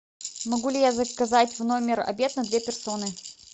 могу ли я заказать в номер обед на две персоны